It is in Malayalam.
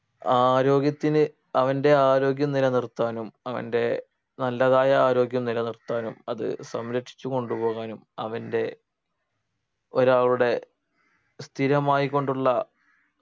ആരോഗ്യത്തിന് അവൻ്റെ ആരോഗ്യം നിലനിർത്താനും അവൻ്റെ നല്ലതായ ആരോഗ്യം നിലനിർത്താനും അത് സംരക്ഷിച്ചു കൊണ്ടുപോകാനും അവന്റെ ഒരാളുടെ സ്ഥിരമായിക്കൊണ്ടുള്ള